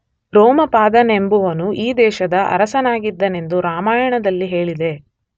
ರೋಮಪಾದನೆಂಬುವನು ಈ ದೇಶದ ಅರಸನಾಗಿದ್ದನೆಂದು ರಾಮಾಯಣದಲ್ಲಿ ಹೇಳಿದೆ.